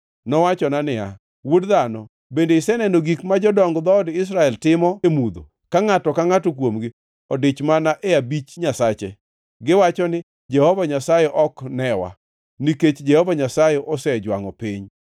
Nowachona niya, “Wuod dhano, bende iseneno gik ma jodong dhood Israel timo e mudho, ka ngʼato ka ngʼato kuomgi odich mana e abich nyasache? Giwacho ni, ‘Jehova Nyasaye ok newa; nikech Jehova Nyasaye osejwangʼo piny.’ ”